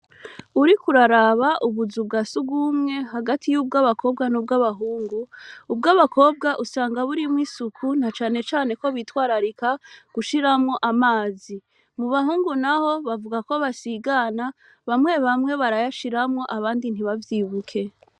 Uriko uraraba ubuzu bw'asugwumwe hagati y'ubwabakobwa n'ubwabahungu. Ubw'abakobwa usanga burimwo isuku na cane cane ko bitwararika gushiramwo amazi. Mu bahungu naho bavuga ko basigana, bamwe bamwe barayashiramwo abandi ntibavyibuke.